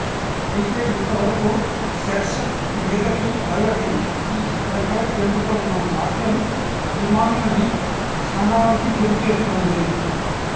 అయితే ఇంతవరకు సెట్స్ మీదకి వెళ్లని ఈచిత్రంపై జరుగుతోన్న జాప్యం అభిమానులని అసహనానికి గురి చేస్తోంది